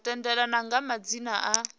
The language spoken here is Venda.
u tendelana kha madzina a